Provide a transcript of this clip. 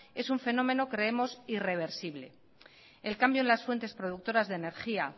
es un fenómeno creemos irreversible el cambio en las fuentes productoras de energía